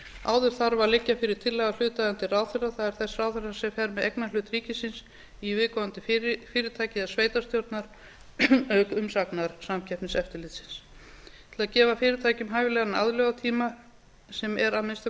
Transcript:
áður þarf að liggja fyrir tillaga hlutaðeigandi ráðherra það er þess ráðherra sem fer með eignarhlut ríkisins í viðkomandi fyrirtæki eða sveitarstjórnar auk umsagnar samkeppniseftirlitsins til að gefa fyrirtækjum hæfilegan aðlögunartíma sem er að minnsta